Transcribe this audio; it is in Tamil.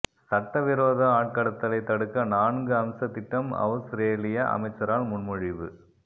சட்டவிரோத ஆட்கடத்தலைத் தடுக்க நான்கு அம்ச திட்டம் அவுஸ்ரேலியா அமைச்சரால் முன்மொழிவு